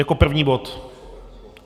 Jako první bod?